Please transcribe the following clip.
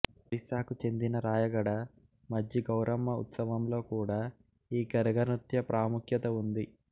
ఒరిస్సాకు చెందిన రాయగడ మజ్జి గౌరమ్మ ఉత్సవంలో కూడ ఈ గరగ నృత్య ప్రాముఖ్యత వుంది